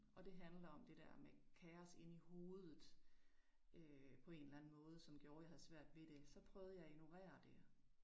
Og det handler om det der med kaos inde i hovedet øh på en eller anden måde, som gjorde jeg havde svært ved det. Så prøvede jeg at ignorere det